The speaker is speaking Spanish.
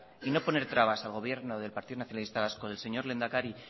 y no poner trabas al gobierno del partido nacionalista vasco del señor lehendakari